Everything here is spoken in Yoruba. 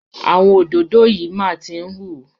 Àwọn òdòdó yìí máa tí ń hú.